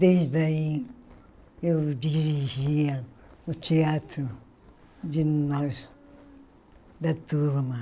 Desde aí eu dirigia o teatro de nós, da turma.